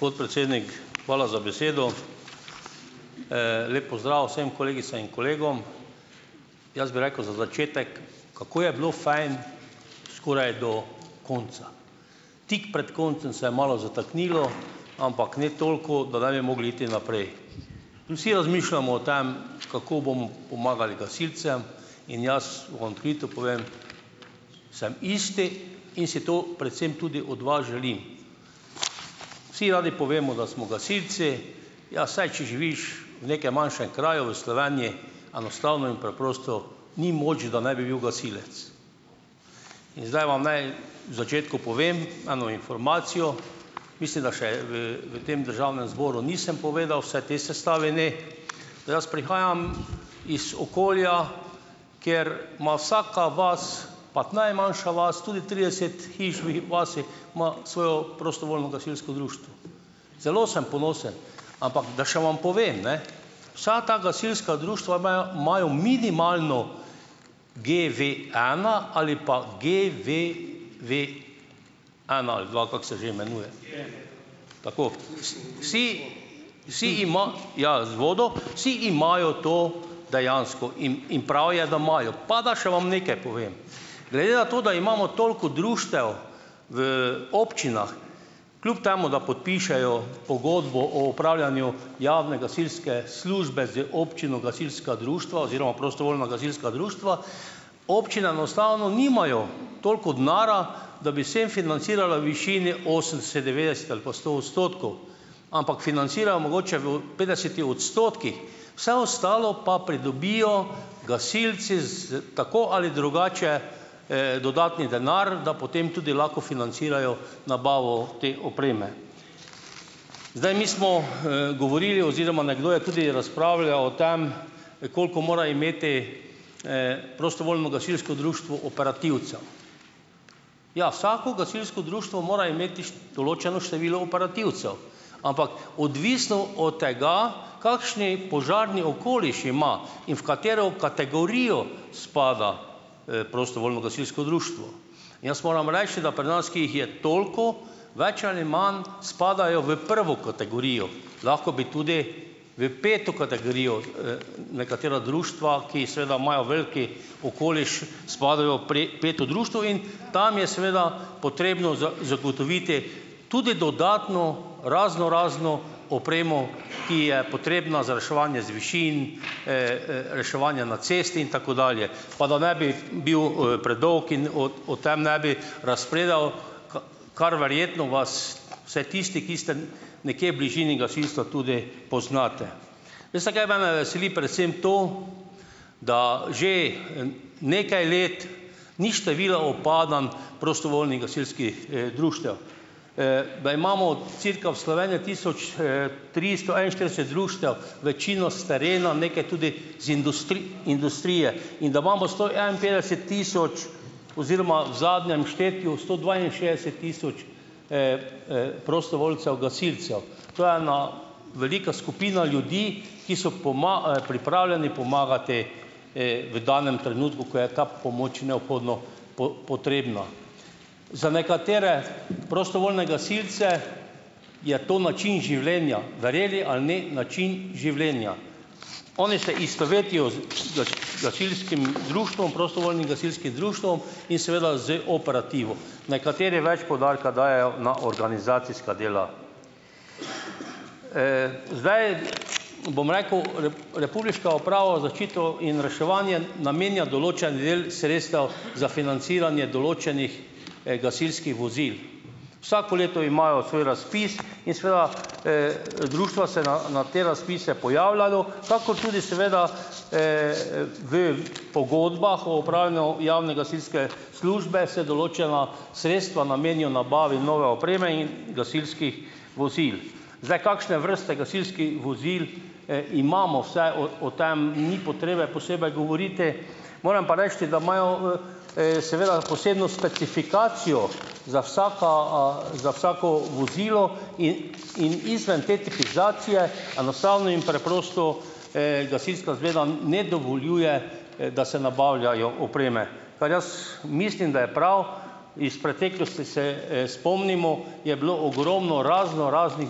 Podpredsednik, hvala za besedo. Lep pozdrav vsem kolegicam in kolegom. Jaz bi rekel za začetek, kako je bilo fajn skoraj do konca. Tik pred koncem se je malo zataknilo, ampak ne toliko, da ne bi mogli iti naprej. In vsi razmišljamo o tem, kako bom pomagali gasilcem, in jaz vam odkrito povem, sem isti in si to predvsem tudi od vas želim. Vsi radi povemo, da smo gasilci, ja saj, če živiš, v nekem manjšem kraju v Sloveniji, enostavno in preprosto ni moč, da ne bi bil gasilec. In zdaj vam naj v začetku povem eno informacijo, mislim, da še v v tem državnem zboru nisem povedal, vsaj tej sestavi ne, da jaz prihajam iz okolja, kjer ima vsaka vas, pa najmanjša vas, tudi trideset hiš v vasi ima svoje prostovoljno gasilsko društvo. Zelo sem ponosen, ampak da še vam povem, ne, vsa ta gasilska društva imajo imajo minimalno GV ena ali pa pa GVV ena ali dva, kako se že imenuje. Tako. Vsi vsi ja z vodo, vsi imajo to dejansko in in prav je, da imajo. Pa da še vam nekaj povem. Glede na to, da imamo toliko društev, v občinah, kljub temu da podpišejo pogodbo o opravljanju javne gasilske službe z občino gasilska društva oziroma prostovoljna gasilska društva, občine enostavno nimajo toliko denarja, da bi vsem financirala v višini osemdeset, devetdeset ali pa sto odstotkov. Ampak financirajo mogoče v petdesetih odstotkih. Vse ostalo pa pridobijo gasilci s tako ali drugače, dodatni denar, da potem tudi lahko financirajo nabavo te opreme. Zdaj mi smo, govorili oziroma nekdo je tudi razpravljal o tem, koliko mora imeti, prostovoljno gasilsko društvo operativcev. Ja, vsako gasilsko društvo mora imeti določeno število operativcev, ampak odvisno od tega, kakšni požarni okoliš ima in v katero kategorijo spada, prostovoljno gasilsko društvo. In jaz moram reči, da pri nas, ki jih je toliko, več ali imam spadajo v prvo kategorijo. Lahko bi tudi v peto kategorijo, nekatera društva, ki seveda imajo velik okoliš, spadajo v peto društvo, in tam je seveda potrebno zagotoviti tudi dodatno raznorazno opremo, ki je potrebna za reševanje z višin, reševanje na cesti in tako dalje. Pa da ne bi bil, predolg in o o tem ne bi razpredal, kar verjetno vas, vsaj tisti, ki ste nekje v bližini gasilstva, tudi poznate. Veste, kaj mene veseli? Predvsem to, da že, nekaj let ni število upadanj prostovoljnih gasilskih, društev. Da imamo cirka v Sloveniji tisoč, tristo enainštirideset društev, večino s terena, nekaj tudi iz industrije. In da imamo sto enainpetdeset tisoč oziroma ob zadnjem štetju sto dvainšestdeset tisoč, prostovoljcev gasilcev. To je ena velika skupina ljudi, ki so pripravljeni pomagati, v danem trenutku, ko je ta pomoč neobhodno potrebna. Za nekatere prostovoljne gasilce je to način življenja, verjeli ali ne, način življenja. Oni se istovetijo z gasilskim društvom, prostovoljnim gasilskim društvom in seveda z operativo. Nekateri več poudarka dajejo na organizacijska dela. zdaj bom rekel Republiška uprava za zaščito in reševanje namenja določen del sredstev za financiranje določenih gasilskih vozil. Vsako leto imajo svoj razpis in seveda, društva se na na te razpise pojavljajo, kakor tudi seveda, v pogodbah o opravljanju javne gasilske službe se določena sredstva namenijo nabavi nove opreme in gasilskih vozil. Zdaj. Kakšne vrste gasilskih vozil, imamo vse? O tem ni potrebe posebej govoriti. Moram pa reči, da imajo, seveda posebno specifikacijo za vsaka, za vsako vozilo in in izven te specifikacije enostavno in preprosto, Gasilska zveza ne dovoljuje, da se nabavljajo opreme, kar jaz mislim, da je prav. Iz preteklosti se, spomnimo, je bilo je ogromno raznoraznih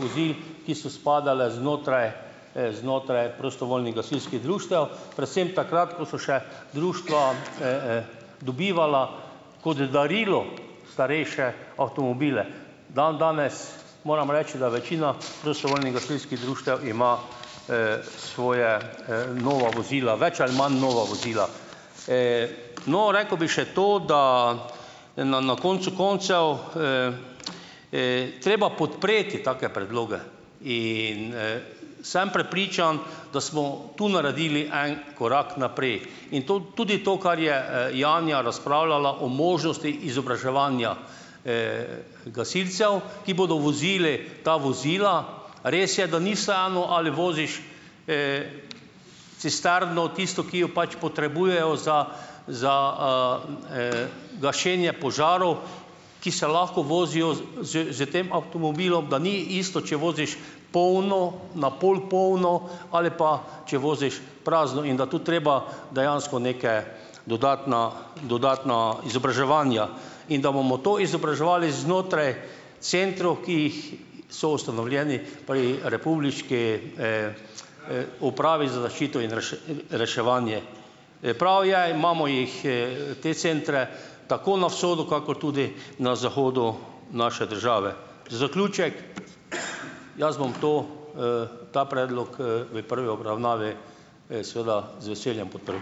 vozil, ki so spadala znotraj, znotraj prostovoljnih gasilskih društev, predvsem takrat, ko so še društva, dobivala kot darilo starejše avtomobile. Dandanes, moram reči, da večina prostovoljnih gasilskih društev ima, svoja nova vozila, več ali manj nova vozila. no. Rekel bi še to, da na na koncu koncev, treba podpreti take predloge. in, Sem prepričan, da smo tu naredili en korak naprej. In to tudi to, kar je, Janja razpravljala o možnosti izobraževanja, gasilcev, ki bodo vozili ta vozila, res je, da ni vseeno ali voziš cisterno, tisto, ki jo pač potrebujejo za za, gašenje požarov, ki se lahko vozijo s s tem avtomobilom, da ni isto, če voziš polno, na pol polno ali pa če voziš prazno. In da to treba dejansko neka dodatna dodatna izobraževanja. In da bomo to izobraževali znotraj centrov, ki jih so ustanovljeni pri republiški, Upravi za zaščito in in reševanje. Prav je, imamo jih, te centre tako na vzhodu kakor tudi na zahodu naše države. Za zaključek, jaz bom to, ta predlog, v prvi obravnavi, seveda z veseljem podprl.